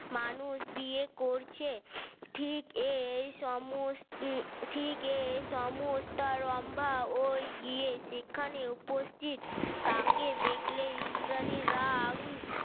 মানুষ বিয়ে করছে ঠিক এই সমস্ত থেকে ঠিক এই রম্ভা ঐ গিয়ে সেখানে উপস্থিত তাকে দেখলে ইন্দ্রাণীরা